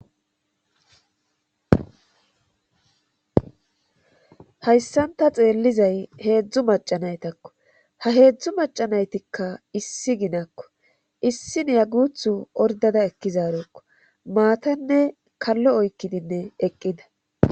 hayssanta xeellizay heedzdzu macanaytakko ha heedzdzu macanaytikka issi ginakko issi neya guthu ordada ekkizarekko maatanne kallo oykkidinne eqqida